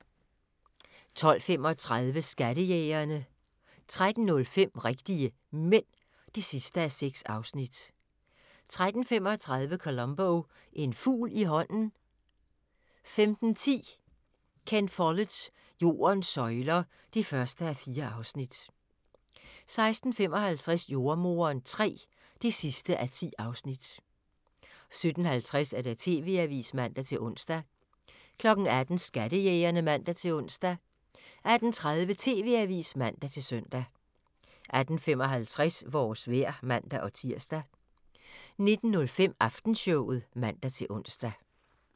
12:35: Skattejægerne 13:05: Rigtige Mænd (6:6) 13:35: Columbo: Én fugl i hånden ... 15:10: Ken Folletts Jordens søjler (1:4) 16:55: Jordemoderen III (10:10) 17:50: TV-avisen (man-ons) 18:00: Skattejægerne (man-ons) 18:30: TV-avisen (man-søn) 18:55: Vores vejr (man-tir) 19:05: Aftenshowet (man-ons)